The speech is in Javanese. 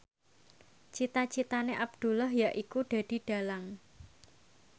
cita citane Abdullah yaiku dadi dhalang